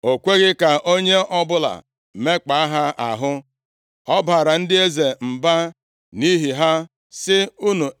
O kweghị ka onye ọbụla mekpaa ha ahụ; ọ baara ndị eze mba nʼihi ha, sị: